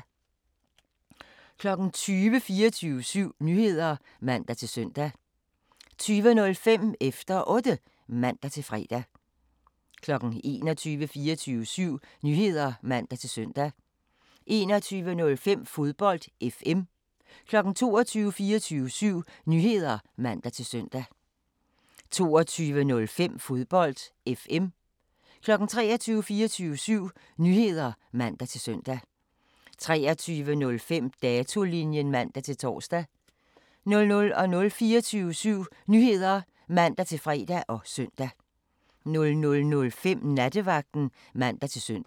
20:00: 24syv Nyheder (man-søn) 20:05: Efter Otte (man-fre) 21:00: 24syv Nyheder (man-søn) 21:05: Fodbold FM 22:00: 24syv Nyheder (man-søn) 22:05: Fodbold FM 23:00: 24syv Nyheder (man-søn) 23:05: Datolinjen (man-tor) 00:00: 24syv Nyheder (man-fre og søn) 00:05: Nattevagten (man-søn)